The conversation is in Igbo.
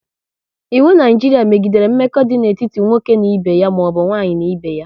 Iwu Naijiria megidere mmekọ idị n'etiti nwoke na ibe ya maọbụ nwaanyị n'ibé ya